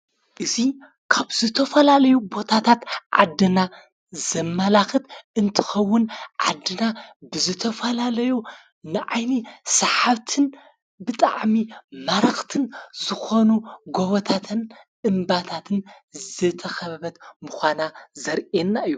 እዙይ ካብ ዘተፈላለዩ ቦታታት ዓድና ዘመላኽት እንትኸውን ዓድና ብዘተፈላለዩ ንዓይኒ ሰሓብትን ብጥዓሚ ማረኽትን ዝኾኑ ጐወታትን እምባታትን ዘተኸበበት ምዃና ዘርየና እዩ።